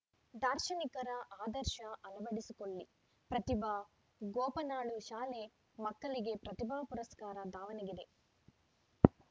ದಾರ್ಶನಿಕರ ಆದರ್ಶ ಅಳವಡಿಸಿಕೊಳ್ಳಿ ಪ್ರತಿಭಾ ಗೋಪನಾಳು ಶಾಲೆ ಮಕ್ಕಳಿಗೆ ಪ್ರತಿಭಾ ಪುರಸ್ಕಾರ ದಾವಣಗೆರೆ